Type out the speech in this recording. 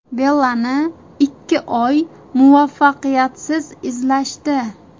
Bellani ikki oy muvaffaqiyatsiz izlashdi.